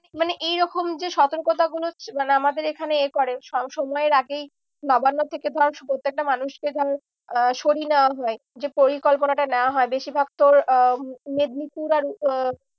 মানে এরকম যে সতর্কতা গুলো মানে আমাদের এখানে এ করে সময়ের আগেই নবান্ন থেকে ধর প্রত্যেকটা মানুষকে ধর আহ সরিয়ে নেওয়া হয়। যে পরিকল্পনাটা নেওয়া হয় বেশিরভাগ তো আহ মেদিনীপুর আর আহ